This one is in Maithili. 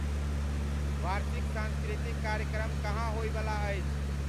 वार्षिक संस्कृति कार्यक्रम कहँन होइ बला अछि